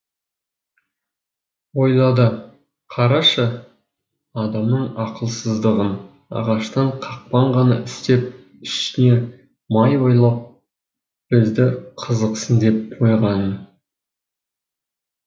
ойлады қарашы адамның ақылсыздығын ағаштан қақпан ғана істеп үстіне май байлап бізді қызықсын деп қойғанын